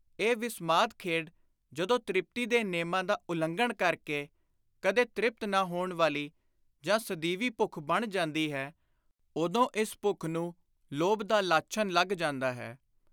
ਇਹ ਵਿਸਮਾਦੀ ਖੇਡ ਜਦੋਂ ਤ੍ਰਿਪਤੀ ਦੇ ਨੇਮਾਂ ਦਾ ਉਲੰਘਣ ਕਰ ਕੇ ਕਦੇ ਤ੍ਰਿਪਤ ਨਾ ਹੋਣ ਵਾਲੀ ਜਾਂ ਸਦੀਵੀ ਭੁੱਖ ਬਣ ਜਾਂਦੀ ਹੈ, ਉਦੋਂ ਇਸ ਭੁੱਖ ਨੂੰ ਲੋਭ ਦਾ ਲਾਛਨ ਲੱਗ ਜਾਂਦਾ ਹੈ।